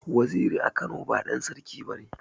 Waziri a Kano ba ɗan Sarki bane.